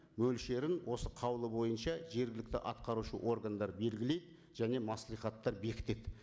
мөлшерін осы қаулы бойынша жергілікті атқарушы органдар белгілейді және мәслихаттар бекітеді